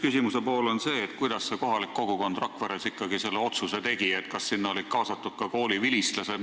Küsimuse üks pool on see, kuidas kohalik kogukond Rakveres ikkagi selle otsuse tegi, kas olid kaasatud ka kooli vilistlased.